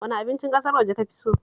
Wane abincin ƙasar waje ka fi so?